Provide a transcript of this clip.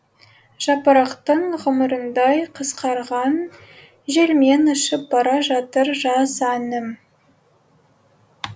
жапырақтың ғұмырындай қысқарған желмен ұшып бара жатыр жаз әнім